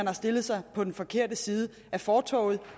har stillet sig på den forkerte side af fortovet